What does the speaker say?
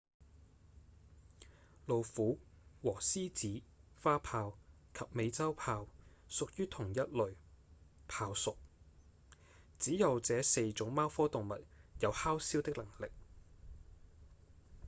老虎和獅子、花豹及美洲豹屬於同一類豹屬只有這四種貓科動物有吼嘯的能力